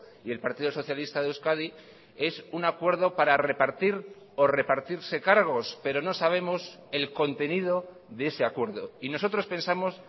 y el partido socialista de euskadi es un acuerdo para repartir o repartirse cargos pero no sabemos el contenido de ese acuerdo y nosotros pensamos